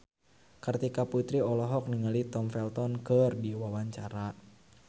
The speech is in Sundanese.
Kartika Putri olohok ningali Tom Felton keur diwawancara